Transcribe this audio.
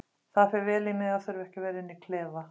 Það fer vel í mig að þurfa ekki að vera inni í klefa.